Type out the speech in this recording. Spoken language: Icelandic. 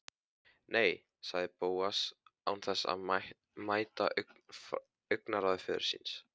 Nei- sagði Bóas án þess að mæta augnaráði föður síns.